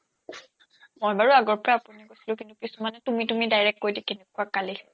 মই বাৰু আগৰ পৰাই আপুনি কৈছিলো কিন্তু কিছুমানে তুমি তুমি direct কৈ দিয়ে কেনেকুৱা গালি খায়